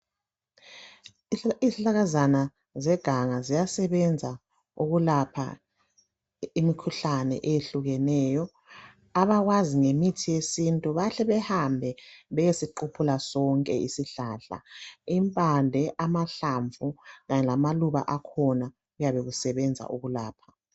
Izihlahlakazana zeganga ziyasebenza ukulapha imkhuhlane ehlukeneyo, abakwazi ngemithi yesintu bahle behambe beye siquphuna sonke isihlahla. Impande, amahlamvu kanye lamaluba akhona kuyabe kusebenza ukulapha.